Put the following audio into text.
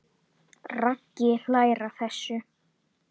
Raggi hlær að þessu.